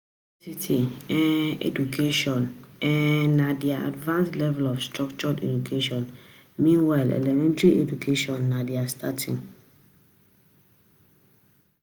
University um education um na di advanced level of structured education, meanwhile Elementary education na di starting